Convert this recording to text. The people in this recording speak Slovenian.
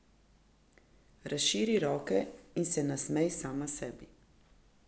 Razširi roke in se nasmej sama sebi.